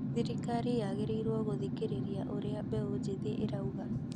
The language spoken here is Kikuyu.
Thirikari yagĩrĩrwo gũthikĩrĩria ũria mbeũ njĩthĩ ĩrauga